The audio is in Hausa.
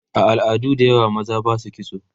a al'adu da yawa maza Basu kitso